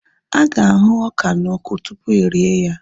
Aga ahu ọka na ọkụ tupu erie ya